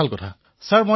প্ৰধানমন্ত্ৰীঃ আচ্ছা